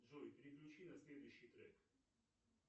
джой переключи на следующий трек